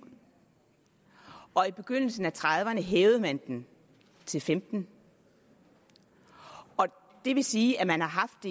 og i begyndelsen af nitten trediverne hævede man den til femten år og det vil sige at man har haft